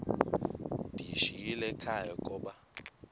ndiyishiyile ekhaya koba